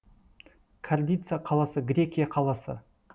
кардица қаласы грекия қаласы